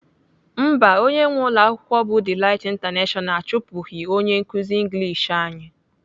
Mba, onye nwee ụlọakwụkwọ bụ Delight International achụpụghị onye nkuzi English anyị.